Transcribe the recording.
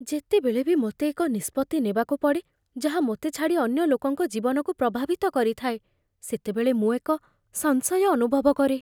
ଯେତେବେଳେ ବି ମୋତେ ଏକ ନିଷ୍ପତ୍ତି ନେବାକୁ ପଡ଼େ, ଯାହା ମୋତେ ଛାଡ଼ି ଅନ୍ୟ ଲୋକଙ୍କ ଜୀବନକୁ ପ୍ରଭାବିତ କରିଥାଏ, ସେତେବେଳେ ମୁଁ ଏକ ସଂଶୟ ଅନୁଭବ କରେ ।